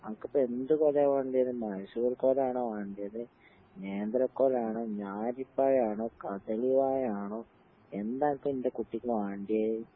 അനക്കിപ്പെ എന്ത് കൊലയാ വേണ്ടിയത്? മൈസൂർ കൊലാണോ വേണ്ടിയത്, നേന്ത്രക്കൊലാണോ, ഞാലിപ്പഴാണോ, കദളി വാഴയാണോ എന്താനക്ക് എന്റെ കുട്ടിക്ക് വേണ്ടിയേ?